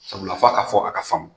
Sabula fɔ a ka fɔ a ka faamu.